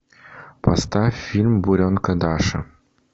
поставь фильм буренка даша